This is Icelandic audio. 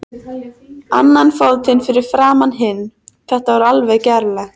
Annan fótinn fram fyrir hinn, þetta var alveg gerlegt.